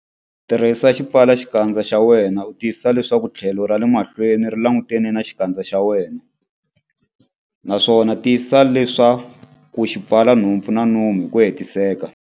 Tirhisa xipfalaxikandza xa wena u tiyisisa leswaku tlhelo ra le mahlweni ri langutane na xikandza xa wena, naswona tiyisisa leswaku xi pfala nhompfu na nomo hi ku hetiseka.